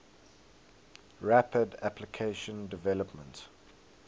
rapid application development